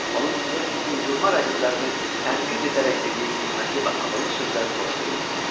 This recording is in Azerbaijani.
Onun öz uydurma rəqiblərini tənqid edərək dediyi qiymətli və ağıllı sözləri xoşlayırdılar.